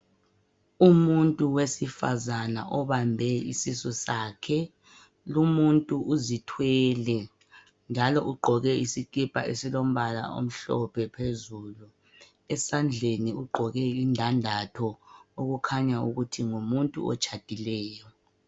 Umuntu wesifazana obambe isisu sakhe . Lumuntu uzithwele , njalo ugqoke isikhipha esilombala omhlophe phezulu . esandleni ugqoke indandatho okukhanya ukuthi ngumuntu otshadileyo.